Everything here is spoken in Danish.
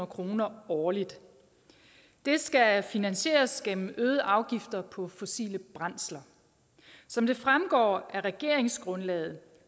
kroner årligt det skal finansieres gennem øgede afgifter på fossile brændsler som det fremgår af regeringsgrundlaget